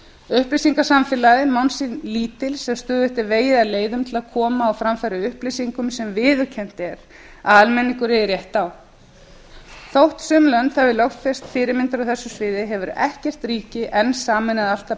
upplýsingasamfélagið má sín lítils sem styðjist við vegi að leiðum til að koma á framfæri upplýsingum sem viðurkennt er að almenningur eigi rétt á þó sum lönd hafi lögfest fyrirmyndir á þessu ríki enn sameinað allt það